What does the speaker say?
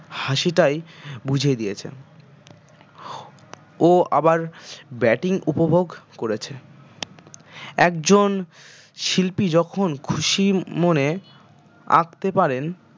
হাসিটাই বুঝিয়ে দিয়েছে ও আবার bating উপভোগ করেছে একজন শিল্পী যখন খুশি মমনে আঁকতে পারেন